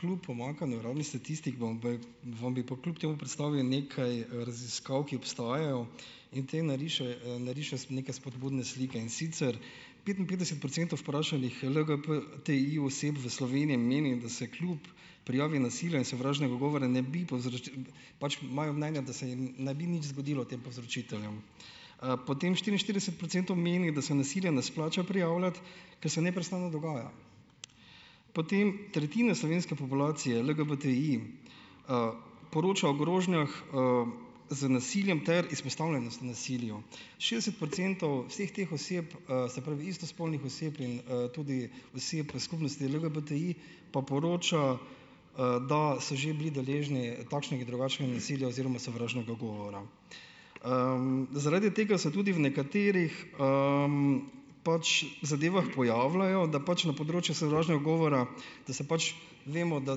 kljub pomanjkanju ravno statistik, vam vam bi pa kljub temu predstavil nekaj, raziskav, ki obstajajo in te nariše neke spodbudne slike, in sicer petinpetdeset procentov vprašanih LGBTI-oseb v Sloveniji in menim, da se kljub prijavi nasilja in sovražnega govora ne bi pač imajo mnenja, da se jim ne bi nič zgodilo tem povzročiteljem. potem štiriinštirideset procentov meni, da se nasilja ne splača prijavljati, ker se neprestano dogaja. Potem, tretjina slovenske populacije LGBTI, poroča o grožnjah, z nasiljem ter izpostavljenost nasilju. Šestdeset procentov vseh teh oseb, se pravi istospolnih oseb in, tudi oseb v skupnosti LGBTI pa poroča, da so že bili deležni takšnih in drugačnih nasilij oziroma sovražnega govora. zaradi tega so tudi v nekaterih, pač zadevah pojavljajo, da pač na področju sovražnega govora, da se pač vemo, da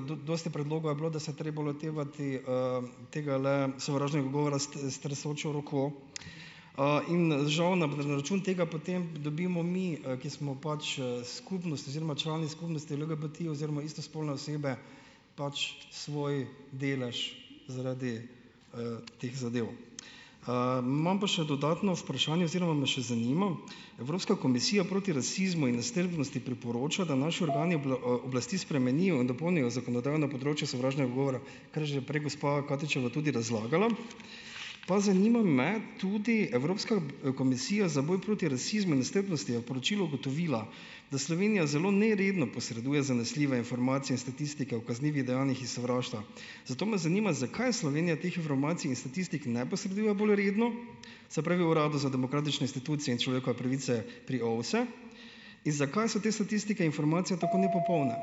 dosti predlogov je bilo, da se treba lotevati, tegale sovražnega govora s tresočo roko. in, žal na na račun tega potem dobimo mi, ki smo pač, skupnost oziroma člani skupnosti LGNTI oziroma istospolne osebe pač svoj delež zaradi, teh zadev. imam pa še dodatno vprašanje oziroma me še zanima, Evropska komisija proti rasizmu in nestrpnosti priporoča, da naši organi oblasti spremenijo in dopolnijo zakonodajo na področju sovražnega govora, ker že prej gospa Katičeva tudi razlagala. Pa zanima me tudi, Evropska komisija za boj proti rasizmu in nestrpnosti je v poročilu ugotovila, da Slovenija zelo neredno posreduje zanesljive informacije in statistike o kaznivih dejanjih iz sovraštva. Zato me zanima, zakaj Slovenija teh informacij in statistik ne posreduje bolj redno, se pravi Uradu za demokratične institucije in človekove pravice pri OVSE in zakaj so te statistike, informacije tako nepopolne.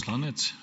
Hvala.